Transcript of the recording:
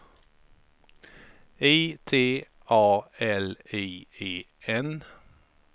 I T A L I E N